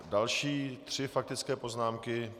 Další tři faktické poznámky.